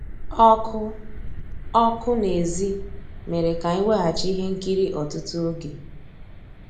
Ọ́kụ́ ọ́kụ́ n'èzí mérè ká ànyị́ wegàchí íhé nkírí ọ́tụtụ́ ògé.